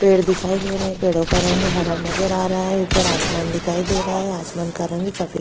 पेड़ दिखाई दे रहे हैं पेड़ो का रंग हरा नजर आ रहा है ऊपर आसमान दिखाई दे रहा है आसमान का रंग सफ़ेद --